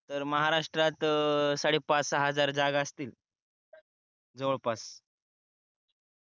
तर महाराष्ट्रात त अह साडे पाच सहा हजार जागा असतील जवळपास